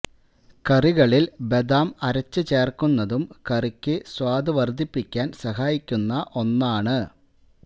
കറികളില് ബദാം അരച്ച് ചേര്ക്കുന്നതും കറിക്ക് സ്വാദ് വര്ദ്ധിപ്പിക്കാന് സഹായിക്കുന്ന ഒന്നാണ്